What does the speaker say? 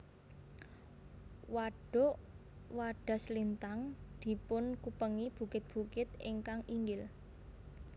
Wadhuk Wadhaslintang dipunkupengi bukit bukit ingkang inggil